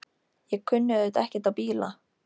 Ég kunni auðvitað ekkert á bíla.